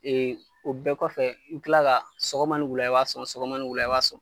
o bɛɛ kɔfɛ i bɛ kila ka sɔgɔma ni wula i b'a sɔn, sɔgɔma ni wula i b'a sɔn.